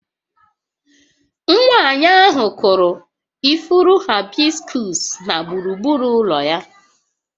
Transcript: Nwanyị ahụ kụrụ ifuru haịbiskus na gburugburu ụlọ ya